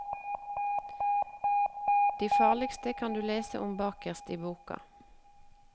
De farligste kan du lese om bakerst i boka.